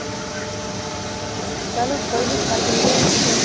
ਅੱਛਾ ਚਲੋ ਕੋਈ ਨਹੀਂ ਕੱਲ ਮਿਲਦੇ ਆ ਫੇਰ